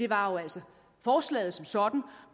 var jo altså forslaget som sådan